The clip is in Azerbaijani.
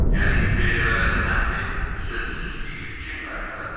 Yəni hüceyrələrin məhvi sözsüz ki, ilkin mərhələdədir.